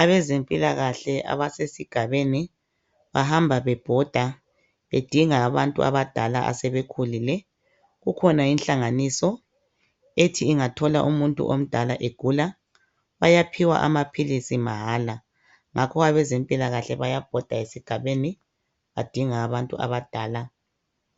Abezempilakahle abasesigabeni, bahamba bebhoda bedinga abadala asebekhulile. Kukhona inhlanganiso ethi ingathola umuntu omdala egulu, bayaphiwa amaphilisi mahala. Ngakho abezempilakahle bayabhoda esigabeni, badinga abantu abadala